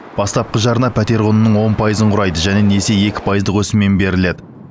бастапқы жарна пәтер құнының он пайызын құрайды және несие екі пайыздық өсіммен беріледі